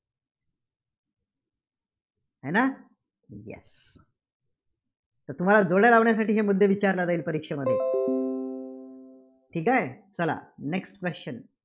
होय ना? Yes तर तुम्हाला जोड्या लावाण्यासाठी हे मुद्दे विचारले जाईल परीक्षेमध्ये. ठीक आहे? चला next question yes